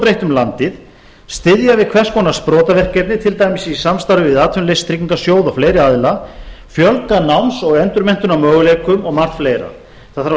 breitt um landið styðja við hvers konar sprotaverkefni til dæmis í samstarfi við atvinnuleysistryggingasjóð og fleiri aðila fjölga náms og endurmenntunarmöguleikum og margt fleira það þarf að